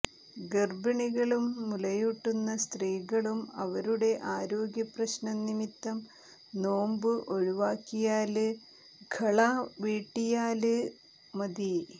ഗര്ഭിണികളും മുലയൂട്ടുന്ന സ്ത്രീകളും അവരുടെ ആരോഗ്യ പ്രശ്നം നിമിത്തം നോമ്പ് ഒഴിവാക്കിയാല് ഖളാ വീട്ടിയാല് മതി